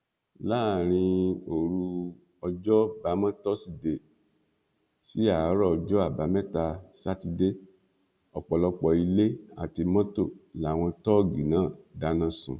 láàrin òru ọjọbamọtòṣìdee sí àárọ ọjọ àbámẹta sátidé ọpọlọpọ ilé àti mọtò làwọn tóógi náà dáná sun